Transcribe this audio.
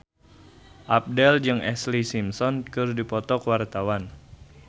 Abdel jeung Ashlee Simpson keur dipoto ku wartawan